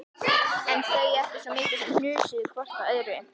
En þau ekki svo mikið sem hnusuðu hvort af öðru.